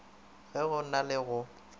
ge go na le go